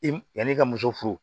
I yan'i ka muso furu